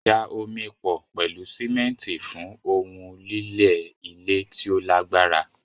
Da omi pọ̀ pẹ̀lú símẹ́ńtì fún ohun lílẹ̀ ile ti o lagbara